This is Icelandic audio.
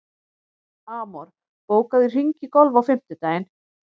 Amor, bókaðu hring í golf á fimmtudaginn.